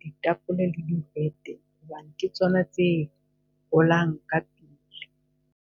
ditapola le hobane ke tsona tse holang ka pele.